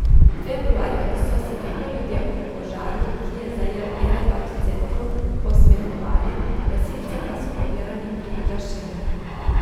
Februarja so se tako ljudje ob požaru, ki je zajel enega od centrov, posmehovali, gasilce pa so ovirali pri gašenju.